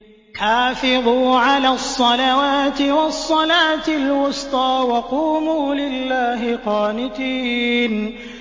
حَافِظُوا عَلَى الصَّلَوَاتِ وَالصَّلَاةِ الْوُسْطَىٰ وَقُومُوا لِلَّهِ قَانِتِينَ